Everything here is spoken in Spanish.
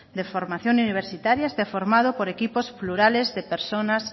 de formación universitarios esté formado por equipos plurales de personas